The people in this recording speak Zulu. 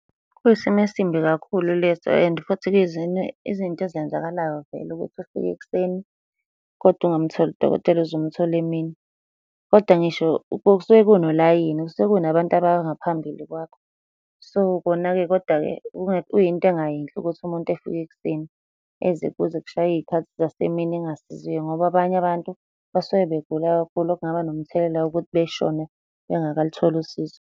Kuyisimo esimbi kakhulu leso, and futhi izinto ezenzakalayo vele ukuthi ufike ekuseni, kodwa ungamtholi udokotela uze umthole emini, kodwa ngisho kusuke kunolayini. Kusuke kunabantu abangaphambili kwakho. So, kona-ke koda-ke, kuyinto engayinhle ukuthi umuntu efike ekuseni kuze kushaye iy'khathi zasemini engasiziwe, ngoba abanye abantu basuke begula kakhulu okungaba nomthelela wokuthi beshone bengakalutholi usizo.